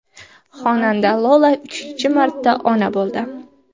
Xonanda Lola uchinchi marta ona bo‘ldi.